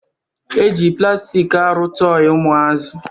E ji plastik arụ tọị ụmụazị